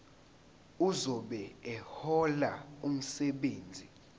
ozobe ehlola umsebenzi